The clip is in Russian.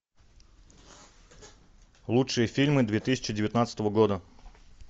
лучшие фильмы две тысячи девятнадцатого года